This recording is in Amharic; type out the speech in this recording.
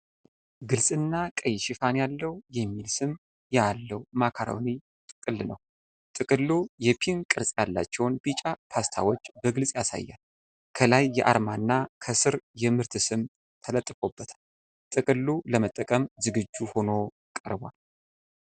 ግልጽና ቀይ ሽፋን ያለው የሚል ስም ያለው ማካሮኒ ጥቅል ነው። ጥቅሉ የፔን ቅርጽ ያላቸውን ቢጫ ፓስታዎች በግልጽ ያሳያል፣ ከላይ የአርማ እና ከስር የምርት ስም ተለጥፎበታል። ጥቅሉ ለመጠቀም ዝግጁ ሆኖ ቀርቧል።